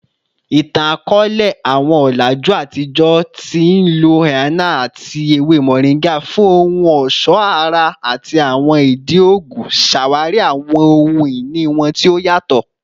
Itan-akọọlẹ, awọn ọlaju atijọ ti nlo henna ati ewe moringa fun ohun ọṣọ ara ati awọn idi oogun, ṣawari awọn ohun-ini wọn ti o yatọ.